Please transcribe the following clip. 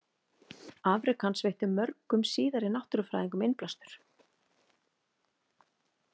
Afrek hans veittu mörgum síðari náttúrufræðingum innblástur.